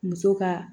Muso ka